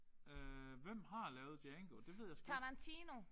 Øh hvem har lavet Django? Det ved jeg sgu ikke